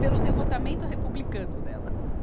pelo devotamento republicano delas.